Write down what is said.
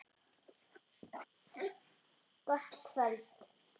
Gott kvöld.